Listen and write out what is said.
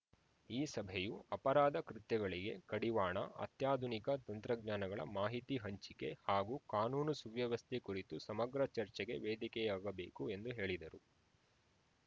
ಈ ಸಭೆಯೂ ಅಪರಾಧ ಕೃತ್ಯಗಳಿಗೆ ಕಡಿವಾಣ ಅತ್ಯಾಧುನಿಕ ತಂತ್ರಜ್ಞಾನಗಳ ಮಾಹಿತಿ ಹಂಚಿಕೆ ಹಾಗೂ ಕಾನೂನು ಸುವ್ಯವಸ್ಥೆ ಕುರಿತು ಸಮಗ್ರ ಚರ್ಚೆಗೆ ವೇದಿಕೆಯಾಗಬೇಕು ಎಂದು ಹೇಳಿದರು